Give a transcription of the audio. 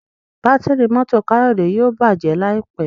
Bátìrì mọ́tò Kayode yíò bàjé láìpé.